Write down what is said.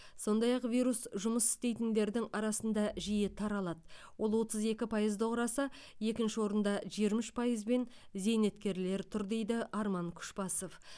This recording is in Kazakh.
сондай ақ вирус жұмыс істейтіндердің арасында жиі таралады ол отыз екі пайызды құраса екінші орында жиырма үш пайыз бен зейнеткерлер тұр дейді арман күшбасов